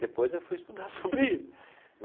Depois eu fui estudar sobre